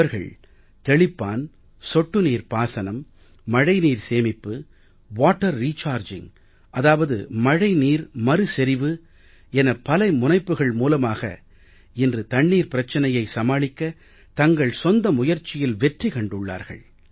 அவர்கள் தெளிப்பான் சொட்டு நீர் பாசனம் மழைநீர் சேமிப்பு வாட்டர் ரிச்சார்ஜிங் அதாவது மழை நீர் மறுசெறிவு என பல முனைப்புக்கள் மூலமாக இன்று தண்ணீர் பிரச்சனையை சமாளிக்க தங்கள் சொந்த முயற்சியில் வெற்றி கண்டுள்ளார்கள்